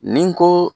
Ni n ko